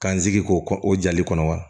K'an sigi k'o o jali kɔnɔ wa